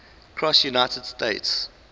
cross united states